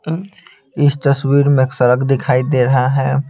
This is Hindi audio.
इस तस्वीर में एक सड़क दिखाई दे रहा है।